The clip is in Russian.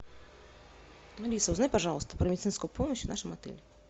алиса узнай пожалуйста про медицинскую помощь в нашем отеле